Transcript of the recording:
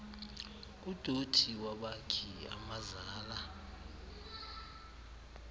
udothi wabakhi amazala